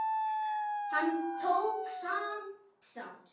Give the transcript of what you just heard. Hann tók samt þátt.